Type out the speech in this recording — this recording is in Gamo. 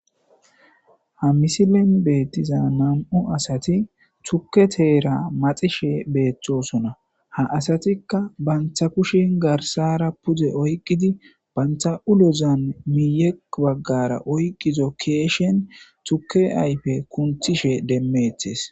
Ha misilen beettiza nam'u asati thuke teera maxishe beeththosona ha asatikka bantha kushin garsara pude oyqqidi bantha ulozan miiyeq baggara oyqizo keeshen thuke ayfe kunthishe demmeethes.